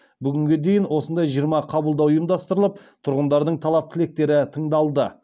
бүгінге дейін осындай жиырма қабылдау ұйымдастырылып тұрғындардың талап тілектері тыңдалды